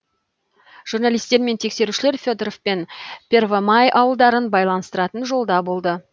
журналистер мен тексерушілер фе доров пен первомай ауылдарын байланыстыратын жолда болды